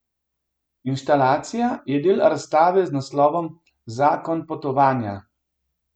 Instalacija je del razstave z naslovom Zakon potovanja.